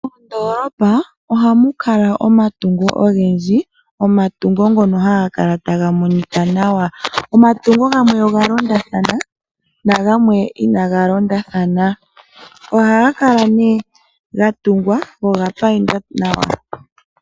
Mondolopa ohamu kala omatungo ogendji omatungo ngoka haga kala taga kala taga monika nawa ,omatungo gamwe ohaga kala ga londathana gamwe inaga londathana ohaga kala ihe taga monika nawa.